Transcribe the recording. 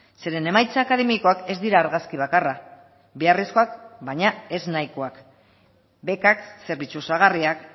zeren emaitza akademikoak ez dira argazki bakarra beharrezkoak baina ez nahikoak bekak zerbitzu osagarriak